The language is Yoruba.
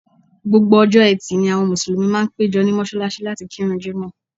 Gbogbo ọjọ́ Ẹtì ni àwọn Mùsùlùmí máa ń péjọ ní mọ́ṣáláṣí láti kírun Jímọ̀h